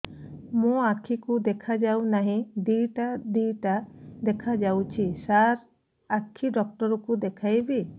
ମୋ ଆଖିକୁ ଦେଖା ଯାଉ ନାହିଁ ଦିଇଟା ଦିଇଟା ଦେଖା ଯାଉଛି ସାର୍ ଆଖି ଡକ୍ଟର କୁ ଦେଖାଇବି